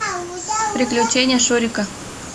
приключения шурика